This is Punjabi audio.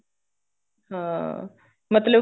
ਹਾਂ ਮਤਲਬ ਕੇ